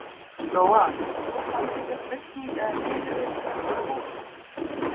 Lóa: Myndir þú samþykkja flutning eða niðurrif þessara húsa?